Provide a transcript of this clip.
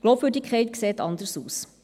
Glaubwürdigkeit sieht anders aus.